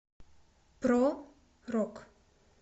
про рок